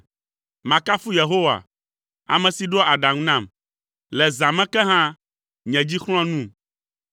Makafu Yehowa, ame si ɖoa aɖaŋu nam; le zã me ke hã, nye dzi xlɔ̃a num.